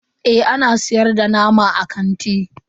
Eh ana siyar da nama a kanti.